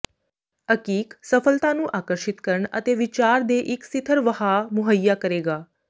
ਅਕੀਕ ਸਫਲਤਾ ਨੂੰ ਆਕਰਸ਼ਿਤ ਕਰਨ ਅਤੇ ਵਿਚਾਰ ਦੇ ਇੱਕ ਸਿਥਰ ਵਹਾਅ ਮੁਹੱਈਆ ਕਰੇਗਾ